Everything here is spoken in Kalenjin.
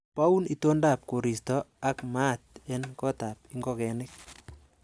Boun itondab koristo ak maat en gotab ingogenik.